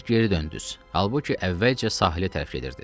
Siz geri döndüz, halbuki əvvəlcə sahilə tərəf gedirdiz.